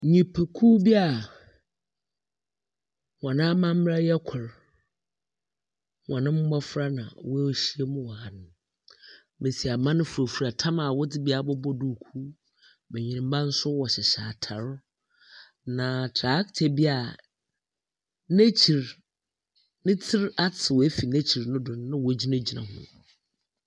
Nnipakuw bi a wɔn amaberɛ yɛ kor. Wɔn mbɔfra na woehyiam wɔ ha no. Mbesiemba no furafura tam a wɔdze bi abobɔ duukuu. Mbenyimba no nso wɔhyehyɛ atar. Na tractor bi a n'ekyir, ne ti ate afir ne ti no do no wɔgyinagyina ho.